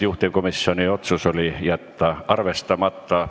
Juhtivkomisjoni otsus oli jätta arvestamata.